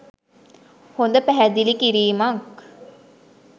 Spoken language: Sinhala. හොඳ පැහැදිලි කිරීමක්.